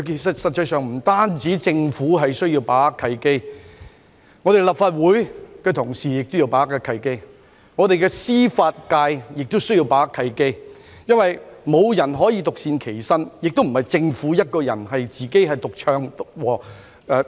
實際上，不單政府需要把握契機，連立法會議員以至本港的司法界亦需要把握契機，因為無人可以獨善其身，政府亦不能獨唱獨和。